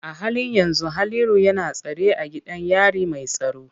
A halin yanzu Haliru yana tsare a gidan yari mai tsaro.